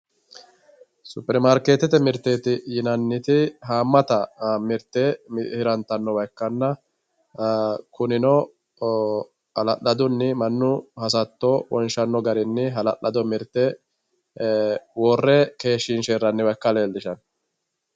Supperimarkeettete mirteeti yinanniti haammata mirte hirantannowa ikkanna kuinno hala'ladunni mannu hasatto wonshanno garinni hala'lado mirte worre keenshiinshe hirranniwa ikka dandaanno